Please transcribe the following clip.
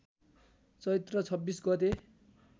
चैत्र २६ गते